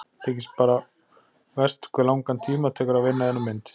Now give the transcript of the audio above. Þykir bara verst hve langan tíma tekur að vinna eina mynd.